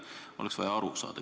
Sellest oleks vaja aru saada.